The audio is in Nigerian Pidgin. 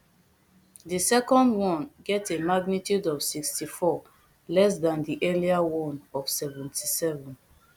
di second one get a magnitude of sixty-four less dan di earlier one of seventy-seven